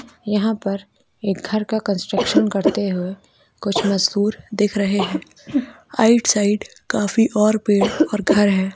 यहाँ पर एक घर का कंस्ट्रक्सन करते हुए कुछ मजदुर दिख रहे है आउट साइड काफी और पेड़ और घर है।